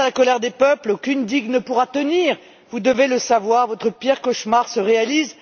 Face à la colère des peuples, aucune digue ne pourra tenir, vous devez le savoir, votre pire cauchemar se réalise.